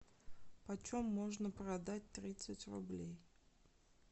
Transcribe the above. по чем можно продать тридцать рублей